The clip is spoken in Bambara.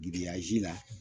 Giriyazi la